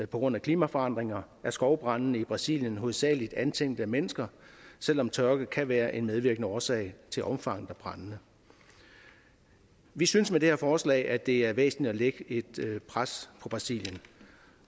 grund af klimaforandringer er skovbrandene i brasilien hovedsagelig antændt af mennesker selv om tørke kan være en medvirkende årsag til omfanget af brandene vi synes med det her forslag at det er væsentligt at lægge et pres på brasilien